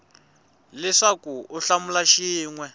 leswaku u hlamula xin we